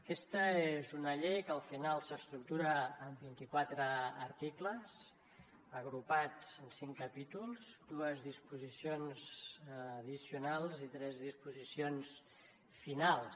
aquesta és una llei que al final s’estructura en vint i quatre articles agrupats en cinc capítols dues disposicions addicionals i tres disposicions finals